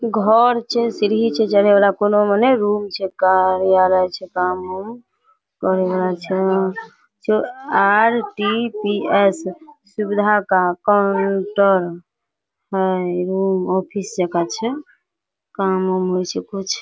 घर छै सीढ़ी छै चरहे वाला कोनो मने रूम छै कार्यालय छै काम उम करे वाला छै वहाँ आर.डी.पि.एस. सुविधा का काउंटर हेय रूम ऑफिस जाका छै काम उम्म होय छै कुछ --